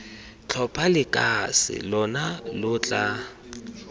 tlhopha lekase lona lo tla